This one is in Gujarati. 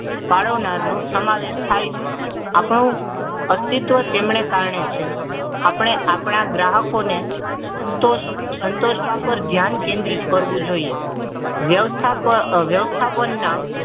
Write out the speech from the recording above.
પાડનાર નો સમાવેશ થાય છે આપણા અસ્તિત્વ તેમ ના કારણે છે આપણે આપણા ગ્રાહકોને સંતોષ સંતોષ વાપર ધ્યાન કેન્દ્રિત કરવું જોઈએ